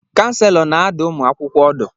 Kanselọ na-adụ ụmụ akwụkwọ ọdụ.